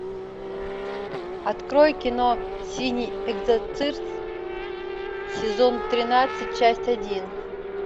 открой кино синий экзорцист сезон тринадцать часть один